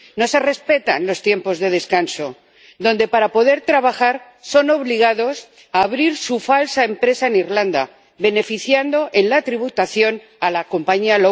No se respetan los tiempos de descanso y, para poder trabajar, son obligados a abrir su falsa empresa en Irlanda, beneficiando en la tributación a la compañía